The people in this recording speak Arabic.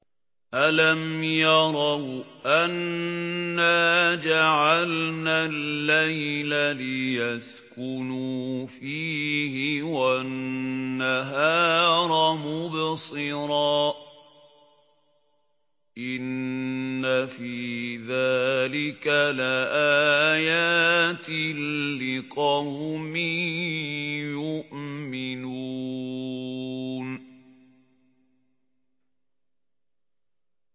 أَلَمْ يَرَوْا أَنَّا جَعَلْنَا اللَّيْلَ لِيَسْكُنُوا فِيهِ وَالنَّهَارَ مُبْصِرًا ۚ إِنَّ فِي ذَٰلِكَ لَآيَاتٍ لِّقَوْمٍ يُؤْمِنُونَ